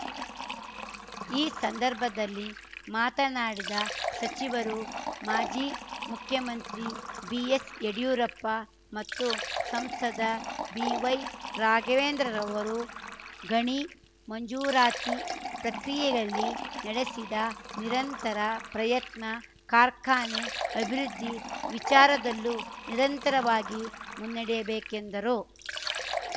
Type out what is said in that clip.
ಈ ಸಂದರ್ಭದಲ್ಲಿ ಮಾತನಾಡಿದ ಸಚಿವರು ಮಾಜಿ ಮುಖ್ಯಮಂತ್ರಿ ಬಿಎಸ್‌ ಯಡ್ಯೂರಪ್ಪ ಮತ್ತು ಸಂಸದ ಬಿವೈ ರಾಘವೇಂದ್ರರವರು ಗಣಿ ಮಂಜೂರಾತಿ ಪ್ರಕ್ರಿಯಲ್ಲಿ ನಡೆಸಿದ ನಿರಂತರ ಪ್ರಯತ್ನ ಕಾರ್ಖಾನೆ ಅಭಿವೃದ್ಧಿ ವಿಚಾರದಲ್ಲೂ ನಿರಂತರವಾಗಿ ಮುನ್ನಡೆಯಬೇಕೆಂದರು